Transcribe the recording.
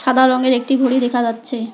সাদা রঙের একটি ঘড়ি দেখা যাচ্ছে।